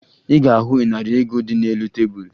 Ị ga-ahụ ịnarị ego dị n'elu tebulu